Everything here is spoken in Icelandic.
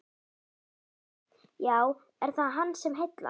Gísli: Já, er það hann sem heillar?